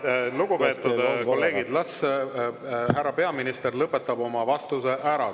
Lugupeetud kolleegid, las härra peaminister lõpetab oma vastuse ära.